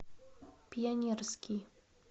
пионерский